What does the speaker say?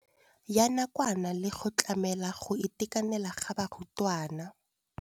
Ya nakwana le go tlamela go itekanela ga barutwana.